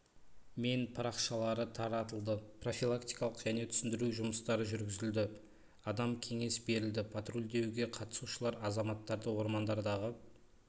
мен парақшалары таратылды профилактикалық және түсіндіру жұмыстары жүргізілді адамға кеңес берілді патрульдеуге қатысушылар азаматтарды ормандардағы